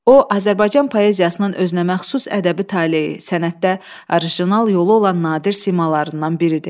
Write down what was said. O Azərbaycan poeziyasının özünəməxsus ədəbi taleyi, sənətdə orijinal yolu olan nadir simalarından biridir.